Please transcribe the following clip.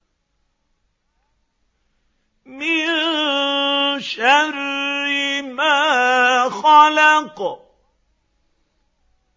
مِن شَرِّ مَا خَلَقَ